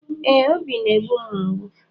Ee, obi na-egbu m mgbu